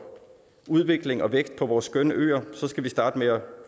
udvikling og vækst på vores skønne øer skal vi starte med at